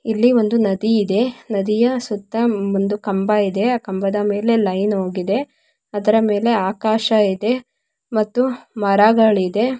ಇಲ್ಲಿ ಒಂದು ನದಿ ಇದೆ ನದಿಯ ಸುತ್ತ ಒಂದು ಕಂಬ ಇದೆ ಆ ಕಂಬದ ಮೇಲೆ ಲೈನ್ ಹೋಗಿದೆ ಅದರ ಮೇಲೆ ಆಕಾಶ ಇದೆ ಮತ್ತು ಮರಗಳಿದೆ.